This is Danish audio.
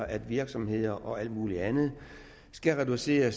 at virksomheder og alt muligt andet skal reducere